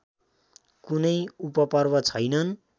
कुनै उपपर्व छैनन्